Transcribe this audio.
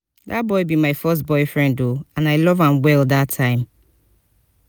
dat boy be my first boyfriend oo and i love am well dat time